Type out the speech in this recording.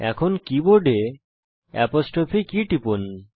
এখন কীবোর্ডে apostrophe key টিপুন